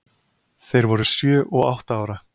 Þeir voru sjö og átta ára.